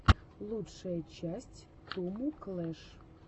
лучшая часть туму клэш